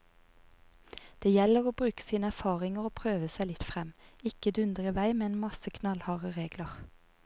Det gjelder å bruke av sine erfaringer og prøve seg litt frem, ikke dundre i vei med en masse knallharde regler.